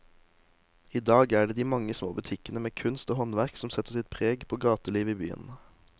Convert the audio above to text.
I dag er det de mange små butikkene med kunst og håndverk som setter sitt preg på gatelivet i byen.